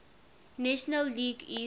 national league east